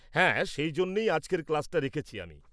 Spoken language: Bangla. -হ্যাঁ, সেই জন্যেই আজকের ক্লাস্টা রেখেছি আমি।